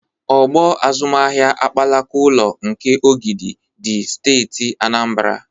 Ọgbọ azụmahịa akpakala ụlọ nke Ogidi dị Steeti Anambara.